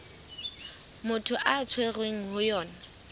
motho a tshwerweng ho yona